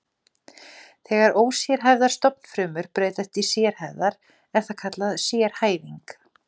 Þegar ósérhæfðar stofnfrumur breytast í sérhæfðar er það kallað sérhæfing.